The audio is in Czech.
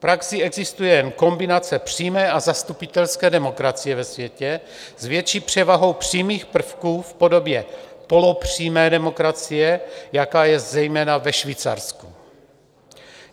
V praxi existuje jen kombinace přímé a zastupitelské demokracie ve světě, s větší převahou přímých prvků v podobě polopřímé demokracie, jaká je zejména ve Švýcarsku.